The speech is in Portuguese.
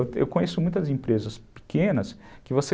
Eu conheço muitas empresas pequenas que você...